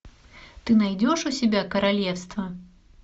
ты найдешь у себя королевство